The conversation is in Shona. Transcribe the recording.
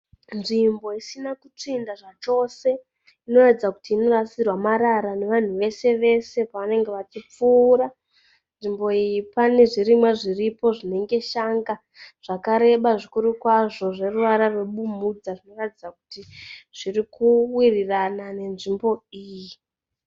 Nzvimbo isina kutsvinda zvachose inoratidza kuti inorasirwa nevanhu vese vese pavanenge vachipfuura. Nzvimbo iyi pane zvirimwa zviripo zvinenge shanga zvakareba zvikuru kwazvo zveruvara rwebumhudza zvinoratidza kuti zvirikuwirirana nenzvimbo iyi.